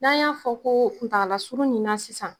N'an y'a fɔ ko kuntagala surun ni na sisan